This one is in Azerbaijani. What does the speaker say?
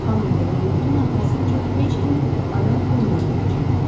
Xanım De Lamotun arxasınca heç kim adam göndərməyəcək.